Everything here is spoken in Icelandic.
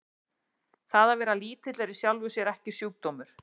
Það að vera lítill er í sjálfu sér ekki sjúkdómur.